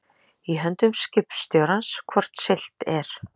Í höndum skipstjórans hvort siglt er